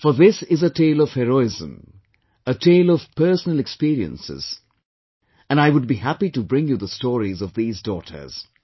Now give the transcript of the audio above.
For this is a tale of heroism, a tale of personal experiences, and I would be happy to bring you the stories of these daughters